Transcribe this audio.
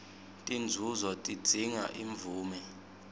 tinzunzo tidzinga imvume